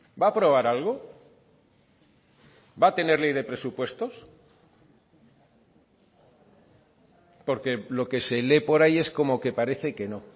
va a aprobar algo va a tener ley de presupuestos porque lo que se lee por ahí es como que parece que no